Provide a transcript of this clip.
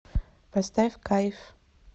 поставь кайф